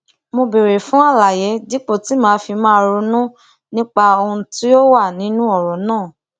mo béèrè fún àlàyé dípò tí màá fi máa ronú nípa ohun tó wà nínú òrò náà